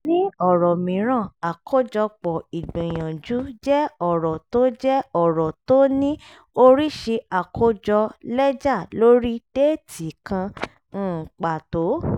ní ọ̀rọ̀ mìíràn àkójọpọ̀ ìgbìyànjú jẹ́ ọ̀rọ̀ tó jẹ́ ọ̀rọ̀ tó ní oríṣi àkójọ lẹ́jà lórí déètì kan um pàtó.